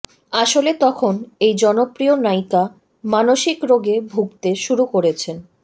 আসলে তখন এই জনপ্রিয় নায়িকা মানসিক রোগে ভুগতে শুরু করেছেন